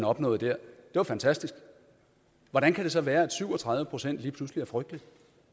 opnåede var fantastisk hvordan kan det så være at et syv og tredive procent lige pludselig er frygteligt